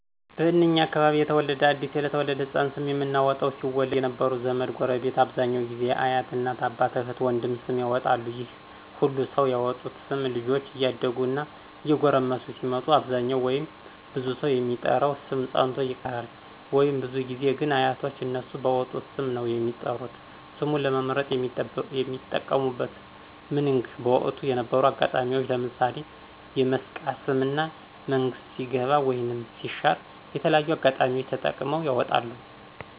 በእንኛ አካባቢ የተለመደ አዲስ ለተወለደ ሕፃን ስም የምናወጣው ሲወለድ የነበሩ ዘመድ፣ ጎረቤት አብዛኛው ጊዜ አያት፣ እናት፣ አባት፣ እህት፣ ወንድም ስም ያወጣሉ ይህ ሁሉ ሰው ያወጡት ስም ልጆች እያደጉ እና እየጎረመሱ ሲመጡ አብዛኛው ወይም ብዙ ሰው የሚጠራው ስም ፀንቶ ይቀራል ወይም። ብዙ ጊዜ ግን አያቶች እነሱ ባወጡት ስም ነው የሚጠሩት። ስሙን ለመምርጥ የሚጠቀሙብት ምንግ በወቅቱ የነበሩ አጋጣሚዎች ለምሣሌ የመስቃ ስም እና መንግስት ሲገባ ወይም ሲሻር የተለያዩ አጋጣሚዎች ተጠቅመው ያወጣሉ።